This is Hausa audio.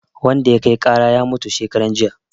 Wanda ya kai ƙara ya mutu shekaran jiya